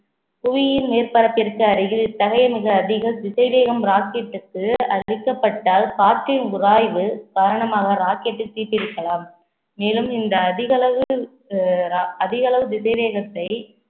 புவியின் மேற்பரப்பிற்கு அருகில் இத்தகைய மிக அதிக திசைவேகம் rocket டுக்கு அளிக்கப்பட்டால் காற்றின் உராய்வு காரணமாக rocket டில் தீப்பிடிக்கலாம் மேலும் இந்த அதிகளவு அதிக அஹ் அளவு திசை வேகத்தை